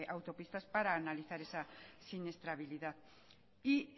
autopistas para analizar esa siniestrabilidad y